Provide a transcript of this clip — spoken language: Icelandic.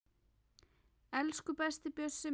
Elsku besti Bjössi minn.